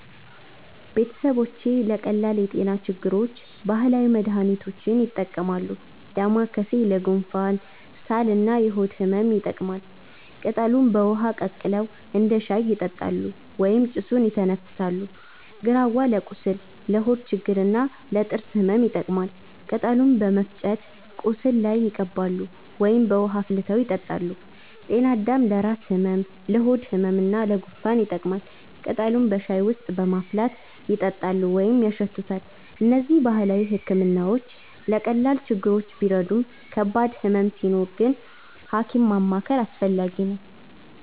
ቤተሰቦች ለቀላል የጤና ችግሮች ባህላዊ መድሃኒቶችን ይጠቀማሉ። ዳማከሴ ለጉንፋን፣ ሳል እና የሆድ ህመም ይጠቅማል። ቅጠሉን በውሃ ቀቅለው እንደ ሻይ ይጠጣሉ ወይም ጭሱን ይተነፍሳሉ። ግራዋ ለቁስል፣ ለሆድ ችግር እና ለጥርስ ህመም ይጠቀማል። ቅጠሉን በመፍጨት ቁስል ላይ ይቀባሉ ወይም በውሃ አፍልተው ይጠጣሉ። ጤናአዳም ለራስ ህመም፣ ለሆድ ህመም እና ለጉንፋን ይጠቅማል። ቅጠሉን በሻይ ውስጥ በማፍላት ይጠጣሉ ወይም ያሸቱታል። እነዚህ ባህላዊ ሕክምናዎች ለቀላል ችግሮች ቢረዱም ከባድ ህመም ሲኖር ሐኪም ማማከር አስፈላጊ ነው።